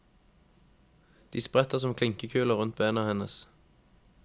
De spretter som klinkekuler rundt bena hennes.